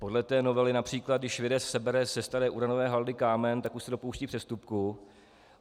Podle té novely například když vědec sebere ze staré uranové haldy kámen, tak už se dopouští přestupku.